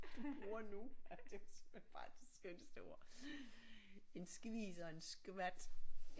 Du bruger nu ja det er simpelthen bare de skønneste ord en skvis og en skvat